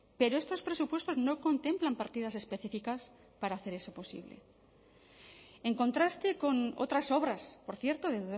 pero estos presupuestos no contemplan partidas específicas para hacer eso posible en contraste con otras obras por cierto de